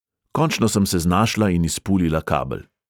Končno sem se znašla in izpulila kabel.